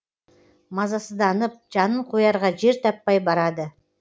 мазасызданып жанын қоярға жер таппай барады